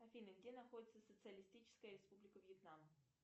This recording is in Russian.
афина где находится социалистическая республика вьетнам